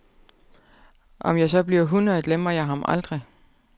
Om jeg så bliver hundrede, glemmer jeg ham aldrig.